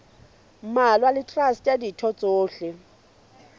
mmalwa le traste ditho tsohle